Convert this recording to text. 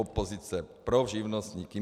Opozice, pro živnostníky.